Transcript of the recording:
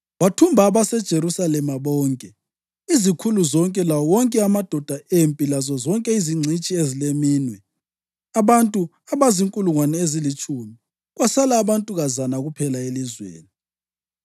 Wathumba abaseJerusalema bonke: izikhulu zonke, lawo wonke amadoda empi lazozonke izingcitshi ezileminwe, abantu abazinkulungwane ezilitshumi. Kwasala abantukazana kuphela elizweni.